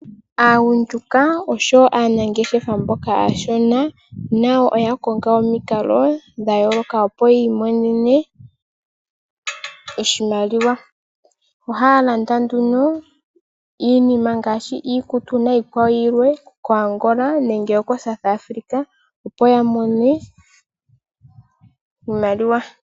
Aagundjuka noshowo aanangeshefa mboka aashona nayo oya konga omikalo dha yooloka opo ya imonene oshimaliwa. Ohaya landa nduno iinima ngaashi iikutu nayikwawo yilwe koAngola, nenge koSouth Africa opo ya mone iimaliwa.